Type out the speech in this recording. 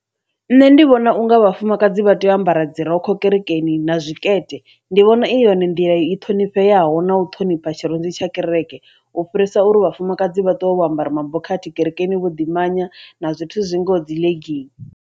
Nṋe ndi vhona unga vhafumakadzi vha tea u ambara dzirokho kerekeni na zwikete, ndi vhona i yone nḓila i ṱhonifheaho na u thonipha tshirunzi tsha kereke u fhirisa uri vhafumakadzi vha ṱuwa vho ambara mabokhathu kerekeni vho ḓi munyanya na zwithu zwingaho dziḽegini.